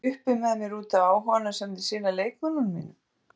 Er ég uppi með mér útaf áhuganum sem þeir sýna leikmönnunum mínum?